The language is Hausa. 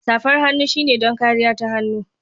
Safar hannu shine don kariya ta hannu.